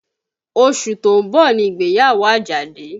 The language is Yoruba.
Oṣù tó ń bọ̀ ni ìgbéyàwó Àjàdí